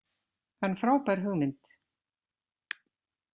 En frábær hugmynd